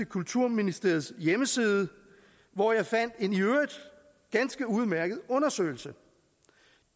kulturministeriets hjemmeside hvor jeg fandt en i øvrigt ganske udmærket undersøgelse